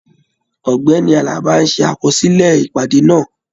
Ọgbẹni Àlàbá n ṣe àkọsílẹ̀ ìpàdé náà.